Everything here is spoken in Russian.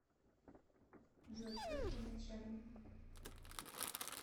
джой кто твой начальник